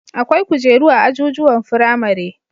Akwai kujeru a ajujuwan firamare